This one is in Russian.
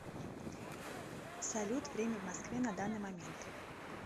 салют время в москве на данный момент